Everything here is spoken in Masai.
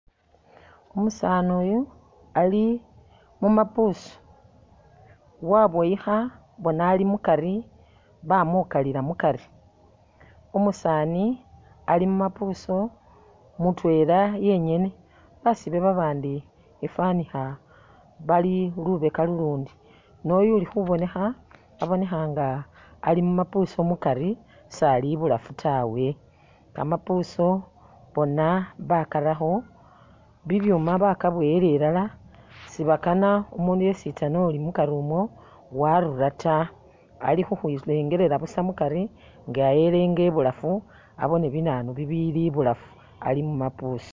Umusaani uyu ali mu mabusi waboyilha bona ali mukari bamukalila mukari, umusaani ali mu mabusu mutwela yengene. Basie babandi ifanikha bali lubeka lulundi noyu uli khubonekha abonekha nga ali mu mabusi mukari sali ibulafu tawe. Kamabusu bona bakarakho bibyuma bakaboyela ilala sibakana umundu yesitsana uli mukari umwo warura ta, ali khukhwilengelela busa mukari nga elenga ibulafu abone binanu bibili ibulafu ali mu mabusi.